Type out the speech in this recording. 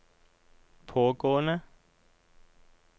pågående